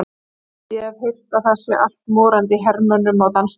Ég hef heyrt að það sé allt morandi í hermönnum á dansstöðunum.